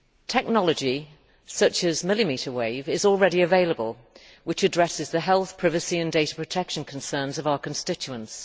Technology such as millimetre wave scanning is already available to address the health, privacy and data protection concerns of our constituents.